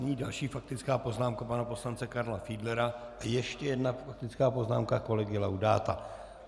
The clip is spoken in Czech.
Nyní další faktická poznámka pana poslance Karla Fiedlera a ještě jedna faktická poznámka kolegy Laudáta.